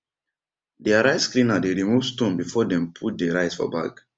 deir rice cleaner dey remove stone before dem put dey rice for bag